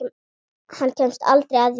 Hann kemst aldrei að því.